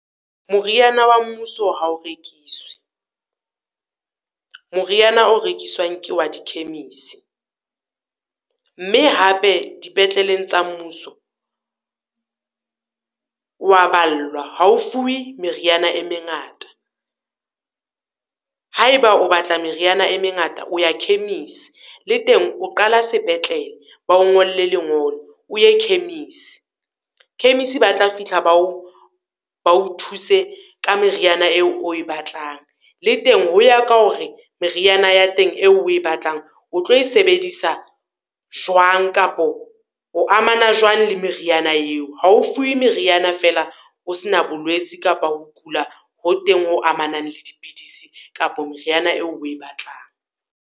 Moriana wa mmuso ha o rekiswe. Moriana o rekiswang ke wa di khemise, mme hape dipetleleng tsa mmuso, o wa ballwa. Ha o fuwe meriana e mengata, ha e ba o batla meriana e mengata, o ya khemisi, le teng o qala sepetlele, ba o ngolle lengolo, o ye khemisi. Khemisi ba tla fihla ba o ba o thuse ka meriana eo e o e batlang, le teng ho ya ka hore meriana ya teng eo o e batlang o tlo e sebedisa jwang, kapo o amana jwang le meriana eo? Ha o fuwe meriana fela o se na bolwetsi kapa ho kula, ho teng ho amanang le dipidisi kapo meriana eo o e batlang.